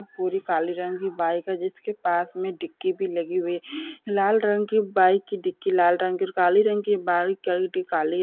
पूरी काली रंग की बाइक है जिसके पास में डिक्की भी लगी हुई है लाल रंग की बाइक की डिक्की लाल रंग और काली रंग का बाइक का डिक्की काली --